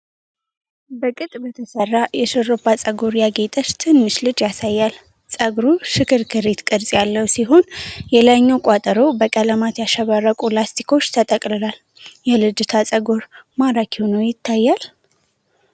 በቅጥ በተሠራ የሽሩባ ፀጉር ያጌጠች ትንሽ ልጅ ያሳያል። ፀጉሩ ሽክርክሪት (spiral) ቅርጽ ያለው ሲሆን፣ የላይኛው ቋጠሮ በቀለማት ያሸበረቁ ላስቲኮች ተጠቅልሏል። የልጅቷ ፀጉር ማራኪ ሆኖ ይታያል?